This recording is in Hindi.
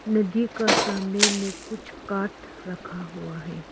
नदी का सामने मे कुछ काठ रखा हुआ है।